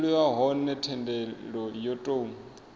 dzuliwa hone thendelo yo tou